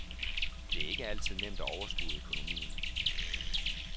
Det er ikke altid nemt at overskue økonomien.